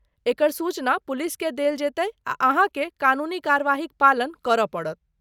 एकर सूचना पुलिसकेँ देल जेतै आ अहाँके कानूनी कार्यवाहीक पालन करय पड़त।